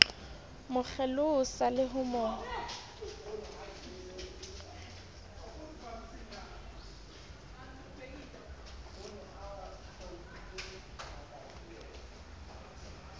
mo kgelosa le ho mo